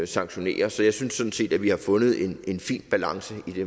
sanktionere så jeg synes sådan set at vi har fundet en fin balance